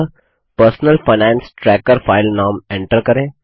अतः personal finance tracker file नाम enter करें